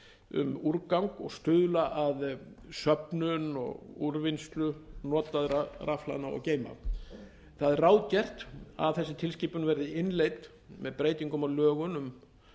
um úrgang og stuðla að söfnun og úrvinnslu notaðra rafhlaðna og rafgeyma það er ráðgert að þessi tilskipun verði innleidd með breytingum á lögum